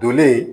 Donlen